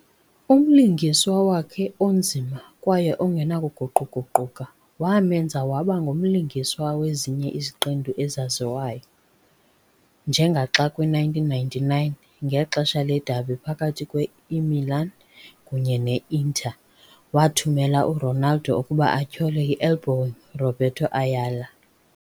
Umlingiswa wakhe onzima kwaye ongenakuguquguquka wamenza waba ngumlingiswa wezinye iziqendu ezaziwayo, njengaxa kwi -1999, ngexesha le-derby phakathi Imilan kunye ne Iinter, wathumela uRonaldo ukuba atyhole i-elbowing Roberto Ayala.